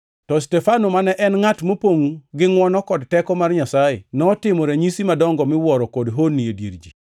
To Stefano mane en ngʼat mopongʼ gi ngʼwono kod teko mar Nyasaye, notimo ranyisi madongo miwuoro kod honni e dier ji.